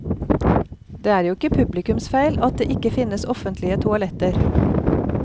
Det er jo ikke publikums feil at det ikke finnes offentlige toaletter.